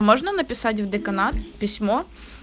можно написать в деканат письмо